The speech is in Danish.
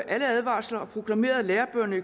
alle advarsler og proklamerede at lærebøgerne i